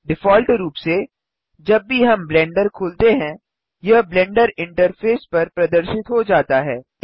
default रूप से जब भी हम ब्लेंडर खोलते हैं यह ब्लेंडर इंटरफ़ेस पर प्रदर्शित हो जाता है